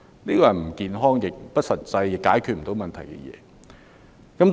這是不健康、不實際，亦不能解決問題的。